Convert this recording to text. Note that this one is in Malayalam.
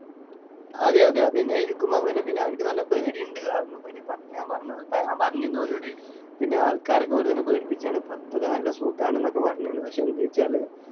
അതെ അതെ അത് തന്നെയായിരിക്കും അവന് പിന്നെ അവനിക്ക് നല്ല പേടിയുണ്ട് കാരണം പിന്നെ പത്ത് ഞാൻ പറഞ്ഞു ഞാൻ പറഞ്ഞിരുന്നു ഓനോട്‌ പിന്നെ ആൾക്കാരൊക്കെ വെറുങ്ങനെ പേടിപ്പിക്കുകയാണ് പത്തൊക്കെ നല്ല സുഖാണു ന്നൊക്കെ പറഞ്ഞിനു പക്ഷേ എന്ത് വെച്ചാലു